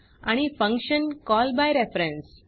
आणि function call by reference